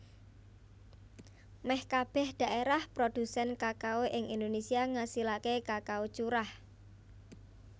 Mèh kabèh dhaérah prodhusèn kakao ing Indonésia ngasilaké kakao curah